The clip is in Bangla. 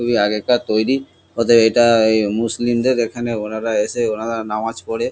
খুবই আগেকার তৈরী ওতে এটা এ মুসলিমদের এখানে ওনারা এসে ওনারা নামাজ পড়ে।